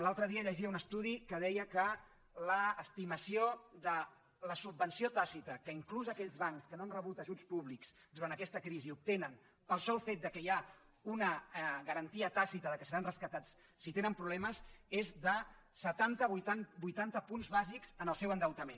l’altre dia llegia un estudi que deia que l’estimació de la subvenció tàcita que inclús aquells bancs que no han rebut ajuts públics durant aquesta crisi obtenen pel sol fet que hi ha una garantia tàcita que seran rescatats si tenen problemes és de setanta vuitanta punts bàsics en el seu endeutament